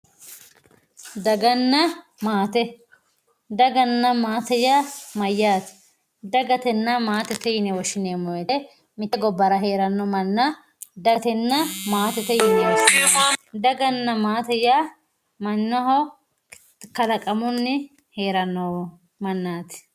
daganna maate daganna maate yaa mayaate dagatenna maatete yine woshineemo woyiite mitte gabbara heeranno manna dagatenna maatete yine woshshinanni daganna maate yaa mannaho kalaqamuni heeranno manati